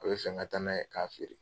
A bɛ fɛn ka taa n'a ye k'a feere.